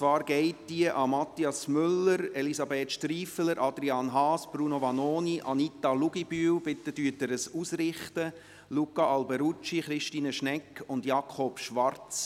Diese richtet sich an Mathias Müller, Elisabeth Striffeler, Adrian Haas, Bruno Vanoni, Anita Luginbühl – richten Sie es ihr bitte aus –, Luca Alberucci, Christine Schnegg und Jakob Schwarz.